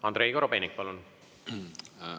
Andrei Korobeinik, palun!